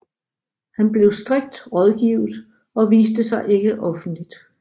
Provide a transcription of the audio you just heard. Han blev strikt rådgivet og viste sig ikke offentligt